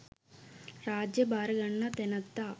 රාජ්‍ය භාර ගන්නා තැනැත්තා